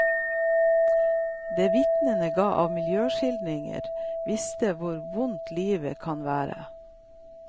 Det vitnene ga av miljøskildringer, viste hvor vondt livet kan være.